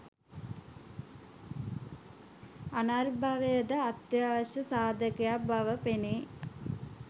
පුනර්භවය ද අත්‍යවශ්‍ය සාධකයක් බව පෙනේ